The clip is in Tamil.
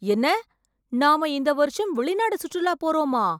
என்ன! நாம இந்த வருஷம் வெளிநாடு சுற்றுலா போறோமா?